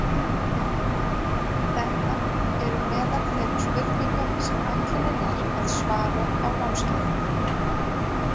Þetta eru meðal þeirra spurninga sem ætlunin er að svara á námskeiðinu.